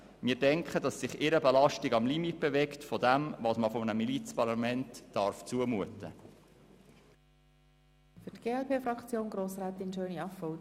Wir denken, dass sich ihre Belastung am Limit dessen bewegt, was man einem Milizparlament zumuten darf.